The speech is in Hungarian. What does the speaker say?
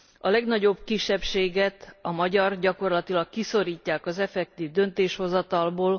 A legnagyobb kisebbséget a magyart gyakorlatilag kiszorítják a tényleges döntéshozatalból.